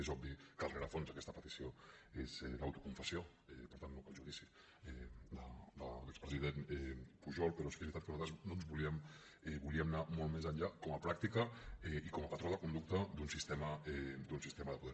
és obvi que el rerefons d’aquesta petició és l’autoconfessió per tant no cal judici de l’expresident pujol però sí que és veritat que nosaltres volíem anar molt més enllà com a pràctica i com a patró de conducta d’un sistema de poder